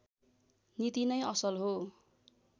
नीति नै असल हो